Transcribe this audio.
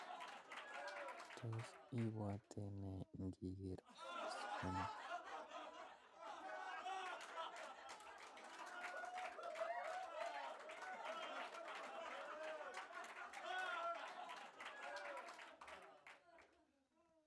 Tos ibwote nee ndinger boishoni